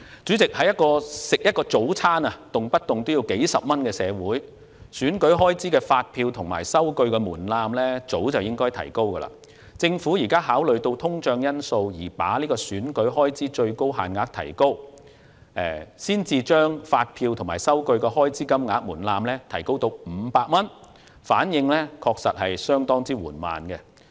主席，在一個一份早餐的售價動輒數30多元的社會，選舉開支的發票和收據門檻早應提高，政府現在考慮到通脹因素而把選舉開支的最高限額提高，把提交發票及數據的開支金額門檻提高至500元，反應確實相當緩慢。